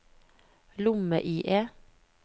lomme-IE